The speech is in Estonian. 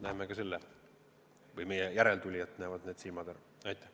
Näeme meie või näevad meie järeltulijate silmad ka seda.